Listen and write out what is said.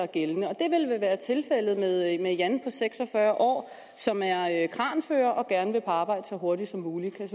gældende det vil vel være tilfældet med jan på seks og fyrre år som er kranfører og gerne vil på arbejde så hurtigt som muligt kan